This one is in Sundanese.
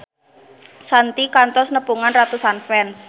Shanti kantos nepungan ratusan fans